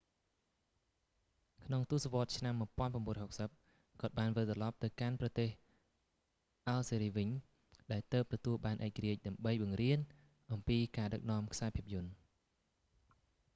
ក្នុងទសវត្សរ៍ឆ្នាំ1960 គាត់បានវិលត្រឡប់ទៅកាន់ប្រទេសអាល់ហ្សេរីវិញ ដែលទើបទទួលបានឯករាជ្យ ដើម្បីបង្រៀនអំពីការដឹកនាំខ្សែភាពយន្ត